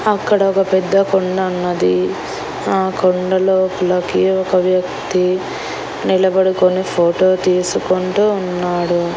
అక్కడ ఒక పెద్ద కొండ అన్నది ఆ కొండ లోపలకి ఒక వ్యక్తి నిలబడుకొని ఫోటో తీసుకుంటూ ఉన్నాడు.